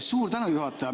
Suur tänu, juhataja!